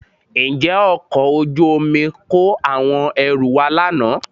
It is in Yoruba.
Ǹjẹ́ ọkọ̀ ojú omi kó àwọn ẹrù wá lánàá?